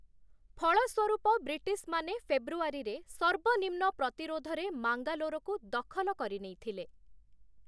ଫଳସ୍ୱରୂପ ବ୍ରିଟିଶ୍‌ମାନେ ଫେବୃଆରୀରେ ସର୍ବନିମ୍ନ ପ୍ରତିରୋଧରେ ମାଙ୍ଗାଲୋରକୁ ଦଖଲ କରିନେଇ ଥିଲେ ।